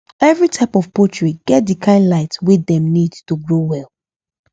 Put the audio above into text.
every type of poultry get the kind light wey dem need to grow well